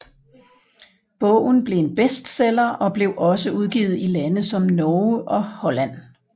Bogen blev en bestseller og blev også udgivet i lande som Norge og Holland